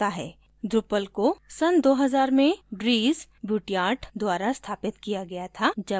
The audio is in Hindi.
drupal को सन2000 में dries buytaert द्वारा स्थापित किया गया था जब वो विद्यार्थी थे